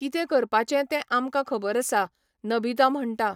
कितें करपाचें तेंआमकां खबर आसा, नबिता म्हणटा.